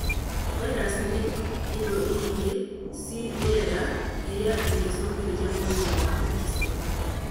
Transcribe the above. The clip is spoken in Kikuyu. Vairaci nĩ indo ingĩ ci rĩera irĩa ingĩcũngĩrĩria mũrimũ wa Parkison